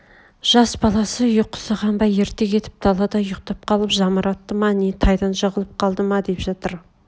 жас баласы ұйқысы қанбай ерте кетіп далада ұйқтап қалып жамыратты ма не тайдан жығылып қалды ма деп жатыр